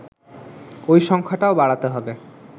ওই সংখ্যাটাও বাড়াতে হবে